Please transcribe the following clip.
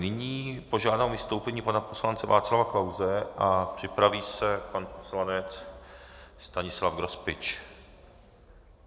Nyní požádám o vystoupení pana poslance Václava Klause a připraví se pan poslanec Stanislav Grospič.